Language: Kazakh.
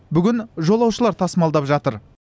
бүгін жолаушылар тасымалдап жатыр